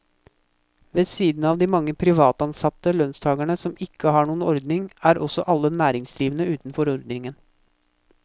Ved siden av de mange privatansatte lønnstagere som ikke har noen ordning, er også alle næringsdrivende utenfor ordningen.